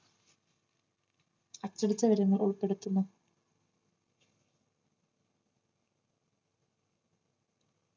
അച്ചടിച്ചവരന്ന് ഉൾപ്പെടുത്തുന്നു